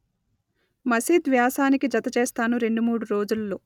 మసీద్ వ్యాసానికి జత చేస్తాను రెండు మూడు రోజులలో